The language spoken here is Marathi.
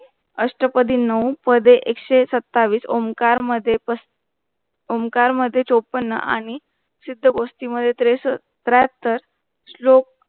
अष्टपदी नऊ पदे एकशे सत्तावीस ओंकार मध्ये ओंकार मध्ये चोपन्न आणि सिद्द-गोष्टी मध्ये त्रेस त्र्याहत्तर श्लोक